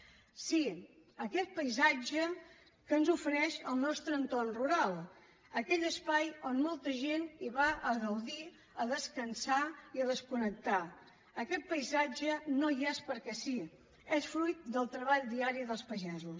sí aquest paisatge que ens ofereix el nostre entorn rural aquell espai on molta gent va a gaudir a descansar i a desconnectar aquest paisatge no hi és perquè sí és fruit del treball diari dels pagesos